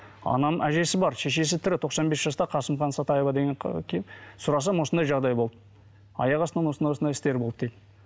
анам әжесі бар шешесі тірі тоқсан бес жаста қасымхан сатаева деген сұрасам осындай жағдай болды аяқ астынан осындай осындай істер болды дейді